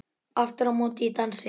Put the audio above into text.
Aftur á móti í dansi.